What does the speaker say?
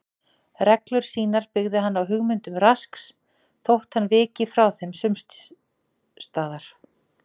Reglur sínar byggði hann á hugmyndum Rasks þótt hann viki frá þeim sums staðar.